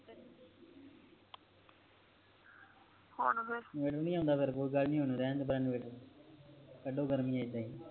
ਹੁਣ ਫੇਰ ਇਨਵਰਟਰ ਨਹੀਂ ਆਉਂਦਾ ਫੇਰ ਕੋਈ ਗੱਲ ਨਹੀਂ ਕਡੋ ਗਰਮੀ ਏਦਾਂ ਹੀ